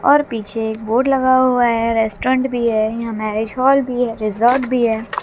और पीछे एक बोर्ड लगा हुआ है रेस्टोरेंट भी है यहां मैरेज हॉल भी है रिजॉर्ट भी है।